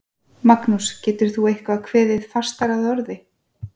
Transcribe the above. Magnús, getur þú eitthvað kveðið fastar að orði?